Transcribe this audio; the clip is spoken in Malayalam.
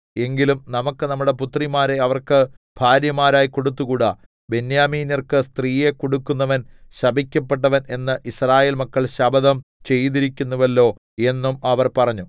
എങ്കിലും നമുക്ക് നമ്മുടെ പുത്രിമാരെ അവർക്ക് ഭാര്യമാരായി കൊടുത്തുകൂടാ ബെന്യാമീന്യർക്ക് സ്ത്രീയെ കൊടുക്കുന്നവൻ ശപിക്കപ്പെട്ടവൻ എന്ന് യിസ്രായേൽ മക്കൾ ശപഥം ചെയ്തിരിക്കുന്നുവല്ലോ എന്നും അവർ പറഞ്ഞു